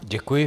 Děkuji.